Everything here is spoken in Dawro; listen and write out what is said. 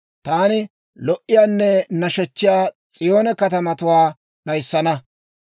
Taani lo"iyaanne nashechchiyaa S'iyoone katamatuwaa d'ayissana.